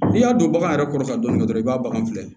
N'i y'a don bagan yɛrɛ kɔrɔ ka dɔnni kɛ dɔrɔn i b'a bagan filɛ